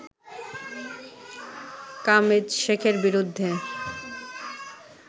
কামেদশেখের বিরুদ্ধে